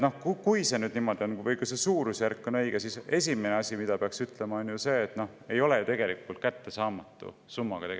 Kui see niimoodi on ja kui see suurusjärk on õige, siis pean ütlema, et tegemist ei ole ju kättesaamatu summaga.